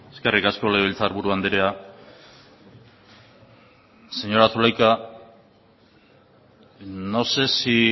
eskerrik asko legebiltzar buru andrea señora zulaika no sé si